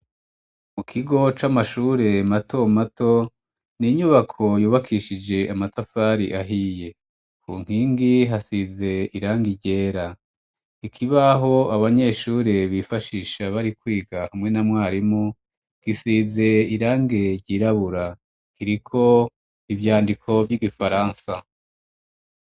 Mu kigo c'amashure matomato ni inyubako yubakishije amatafari ahiye. Mu nkingi hasize irangi ryera. Ikibaho abanyeshure bifashisha bari kwiga hamwe na mwarimu, gisize irangi ryirabura, kiriko ivyandiko vy'igifaransa.